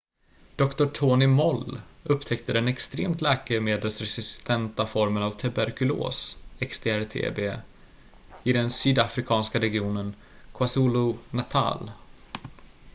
doktor tony moll upptäckte den extremt läkemedelsresistenta formen av tuberkulos xdr-tb i den sydafrikanska regionen kwazulu-natal